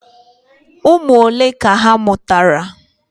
Ụmụ ole ka ha mụtara?